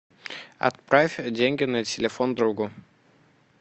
отправь деньги на телефон другу